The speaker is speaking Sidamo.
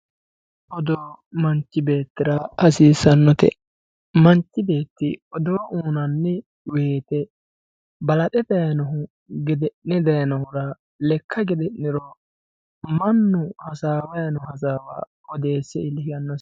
Odoo manchi beettira hasiisanote, manchi odoo uyinanni woyte balaxe dayinohu gede'ne dayinohura lekka gede'ninohu mannu hasaawani noo hasaawa odeesesi yaanosi.